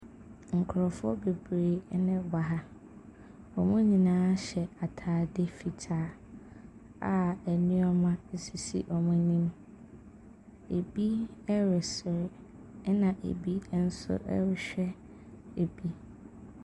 Nkrɔfoɔ bebree na wɔ ha. Wɔn nyinaa hyɛ ataade fitaa a nnoɔma sisi wɔn anim. Ebi reserew na ebi nso rehwɛ bi.